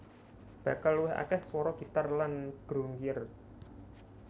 Bakal luwih akeh swara gitar lan grungier